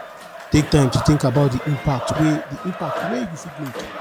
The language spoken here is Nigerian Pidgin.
take time to think about di impact wey di impact wey you fit make